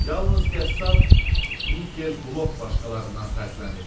Yalnız qəssab Mikel Blok başqalarından fərqlənirdi.